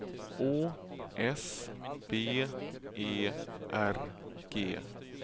Å S B E R G